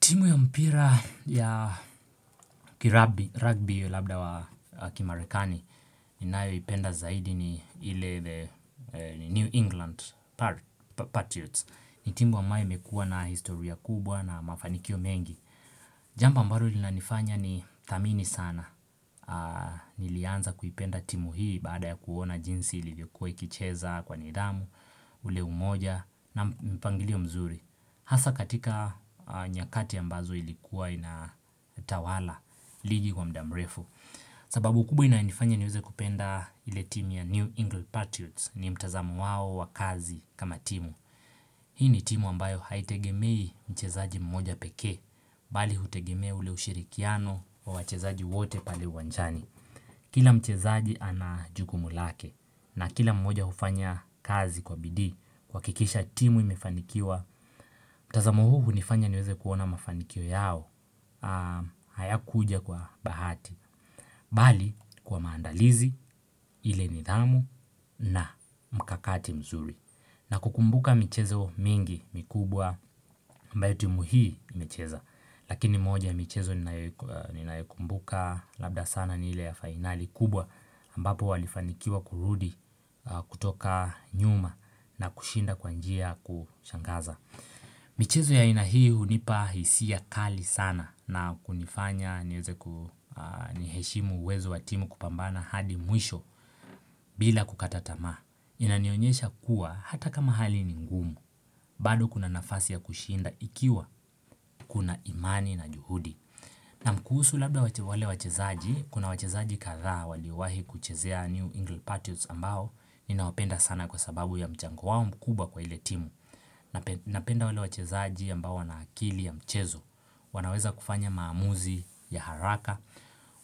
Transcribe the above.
Timu ya mpira ya rugby labda wa kimarekani ni nayo ipenda zaidi ni New England Patriots. Ni timu ambayo imekua na historia kubwa na mafanikio mengi. Jambo ambalo linanifanya ni tamini sana. Nilianza kuipenda timu hii baada ya kuona jinsi ilivyokuwa ikicheza kwa nidhamu, ule umoja na mpangilio mzuri. Hasa katika nyakati ambazo ilikuwa inatawala ligi kwa mda mrefu. Sababu kubwa inayonifanya niweze kupenda ile timu ya New England Patriots ni mtazamo wao wakazi kama timu. Hii ni timu ambayo haitegemei mchezaji mmoja pekee bali hutegemea ule ushirikiano wa wachezaji wote pale wanjani. Kila mchezaaji anajukumu lake na kila mmoja ufanya kazi kwa bidii kuhakikisha timu imefanikiwa, mtazamo huu unifanya niweze kuona mafanikio yao hayakuja kwa bahati, bali kwa maandalizi ile nidhamu na mkakati mzuri. Na kukumbuka michezo mingi mikubwa ambayo tumi hii imecheza. Lakini moja michezo ninayokumbuka labda sana ni ile ya finali kubwa ambapo walifanikiwa kurudi kutoka nyuma na kushinda kwanjia kushangaza. Michezo ya aina hii hunipa hisia kali sana na kunifanya niheshimu uwezo wa timu kupambana hadi mwisho bila kukatatamaa. Inanionyesha kuwa hata kama hali ni ngumu, bado kuna nafasi ya kushinda ikiwa kuna imani na juhudi. Naam kuhusu labda wale wachezaji, kuna wachezaji kathaa waliwahi kuchezea New England Patriots ambao ninawapenda sana kwa sababu ya mchango wao mkubwa kwa ile timu. Napenda wale wachezaji ambao wana akili ya mchezo wanaweza kufanya maamuzi ya haraka